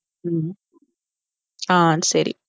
ஹம் ஆஹ் சரி